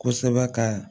Kosɛbɛ ka